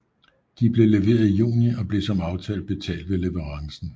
De blev leveret i juni og blev som aftalt betalt ved leverancen